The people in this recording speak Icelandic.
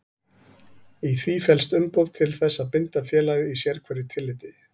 Í því felst umboð til þess að binda félagið í sérhverju tilliti.